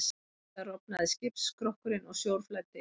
Við það rofnaði skipsskrokkurinn og sjór flæddi inn.